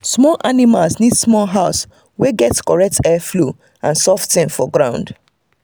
small animals need small house wey get correct heat air flow and soft thing for ground